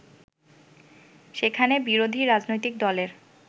সেখানে বিরোধী রাজনৈতিক দলের